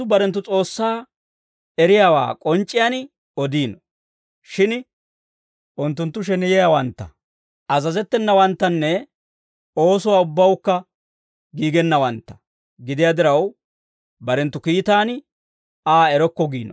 Unttunttu barenttu S'oossaa eriyaawaa k'onc'c'iyaan odiino; shin unttunttu sheneyiyaawantta, azazettenawanttanne oosuwaa ubbawukka giigennawantta gidiyaa diraw, barenttu kiitaan Aa erokko giino.